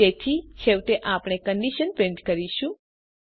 તેથી છેવટે આપણે કન્ડીશન પ્રિન્ટ કરીશું